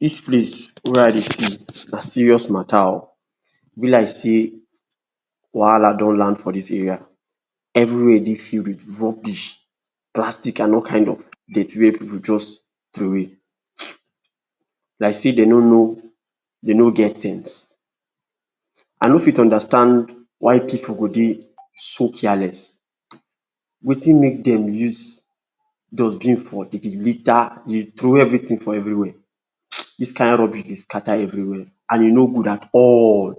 Dis place wey I dey see na serious matter o, e be like sey wahala don land for dis area, everywhere dey filled wit rubbish, plastic and all kind of dirty wey pipu just trowey, like sey den no know, den no get sense. I no fit understand why pipu go dey so careless, wetin mek dem use dustbin for, den dey litter, dey trowey everytin for everywhere. Dis kind rubbish dey scatter everywhere and e no good at all,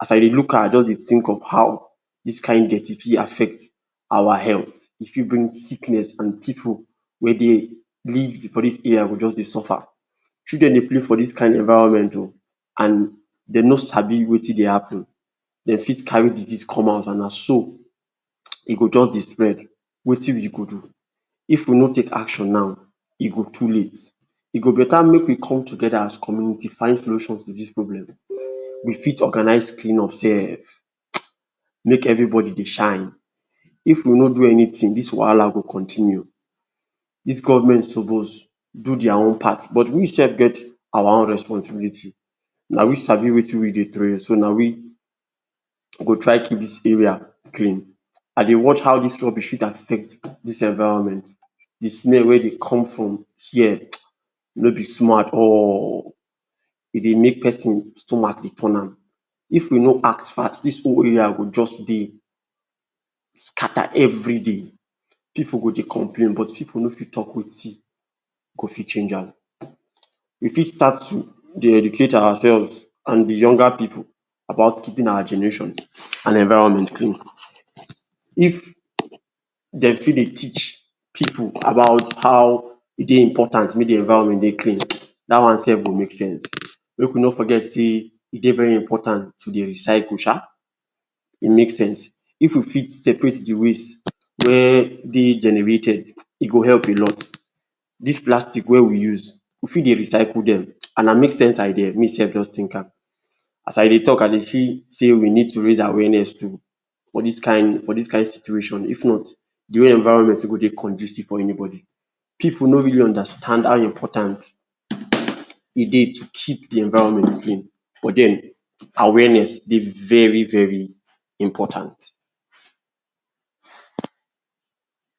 as I dey look am, I just dey think of how dis kind dirty fit affect our healt, e fit bring sickness and pipu wey dey live for dis area go just dey suffer. Children dey play for dis kin environment o and dem no sabi wetin dey happen, den fit carry disease come house and na so e go just dey spread, wetin we go do? If we no take action now e go too late, e go beta mek we come together as community find solution to dis problem, we fit organise cleanup sef, mek everybody dey shine. If we no do anytin, dis wahala go continue, dis government suppose do dia own part, but we sef get our own responsibility. Na we sabi wetin we dey trowey, so na we go try to dis area clean, and dey watch how dis rubbish fit affect dis environment, di smell wey dey come from here no be small at all, e dey mek person stomach dey turn am, if we no act fast dis whole area go jus dey scatter every day, pipu go dey complain, but pipu no fit talk wetin go fit change am. We fit start dey educate ourselves and di younger pipu about keeping our generation and environment clean. If den fit dey teach pipu about how e dey important mey di environment dey clean, dat one sef go make sense, mek we no forget sey e dey very important to dey recycle sha, e make sense. If we fit separate di waste wey de generated e go help a lot. Dis plastic wey we dey use we fit dey recycle dem and na mek sense idea, me sef just think am, as I dey talk I dey feel sey we need to raise awareness too for dis kin, for dis kin situation, if not di way environment no go dey condusive for anybody. Pipu no really understand how important e dey to keep di environment clean but den awareness dey very very important.